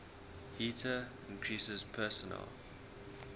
heater increases personal